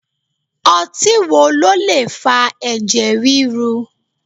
Ọtí wo ló lè fa ẹ̀jẹ̀ ríru?